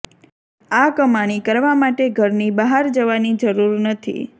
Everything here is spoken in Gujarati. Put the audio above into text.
આ ક્માણી કરવા માટે ઘરની બહાર જવાની જરૂર નથી